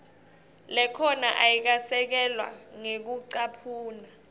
lekhona ayikasekelwa ngekucaphuna